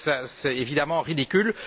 C'est évidemment ridicule.